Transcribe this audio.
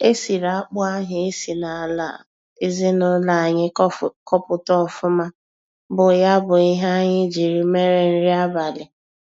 E siri akpụ ahụ e si n'ala ezinụlọ anyị kọpụta ọfụma bụ ya bụ ihe anyị jiri mere nri abalị.